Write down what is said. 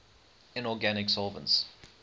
inorganic solvents